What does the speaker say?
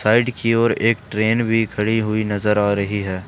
Side की ओर एक ट्रेन भी खड़ी हुई नजर आ रही है।